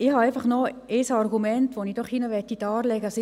Ich habe noch ein Argument, welches ich darlegen möchte.